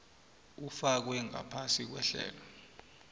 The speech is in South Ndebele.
ufakwe ngaphasi kwehlelo